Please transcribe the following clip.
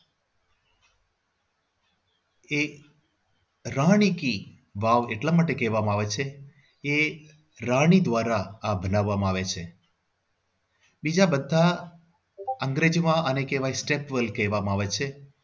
એક રાણી કી વાવ એટલા માટે કહેવામાં આવે છે એ રાણી દ્વારા આ બનાવવામાં આવે છે બીજા બધા અંગ્રેજમાં જેને step wel કહેવામાં આવે છે.